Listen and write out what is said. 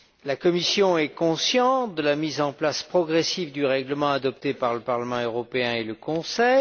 La Commission est consciente de la mise en place progressive du règlement adopté par le Parlement européen et le Conseil.